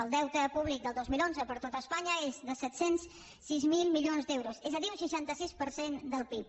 el deute públic del dos mil onze per tot espanya és de set cents i sis mil milions d’euros és a dir un seixanta sis per cent del pib